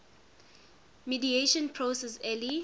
mediation process early